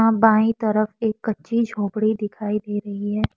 वहां बाई तरफ एक कच्ची झोपड़ी दिखाई दे रही है।